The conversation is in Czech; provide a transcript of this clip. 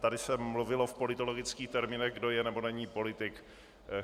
Tady se mluvilo v politologických termínech kdo je, nebo není politik.